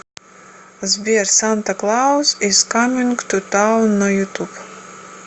сбер санта клаус из каминг ту таун на ютуб